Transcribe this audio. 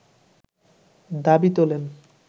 দাবি তোলেন